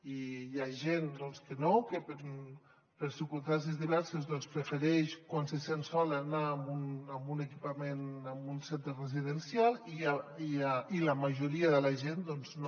i hi ha gent que no que per circumstàncies diverses prefereix quan se sent sola anar a un equipament a un centre residencial i la majoria de la gent doncs no